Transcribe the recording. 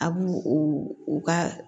A b'u u ka